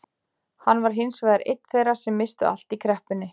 Hann var hins vegar einn þeirra sem misstu allt í kreppunni.